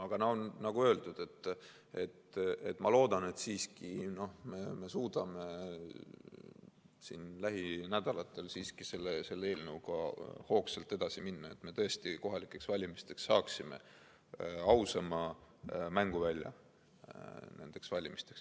Aga nagu öeldud, ma loodan, et me siiski suudame lähinädalatel selle eelnõuga hoogsalt edasi minna, et me tõesti kohalikeks valimisteks saaksime ausama mänguvälja.